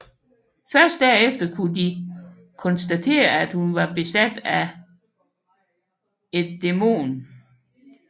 Først derefter kunne de konstatere at hun var besat af et dæmon